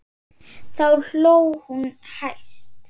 Þá hló hún hæst.